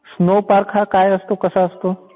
Snow park हा काय असतो कसा असतो?